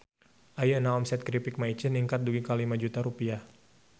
Ayeuna omset Kripik Maicih ningkat dugi ka 5 juta rupiah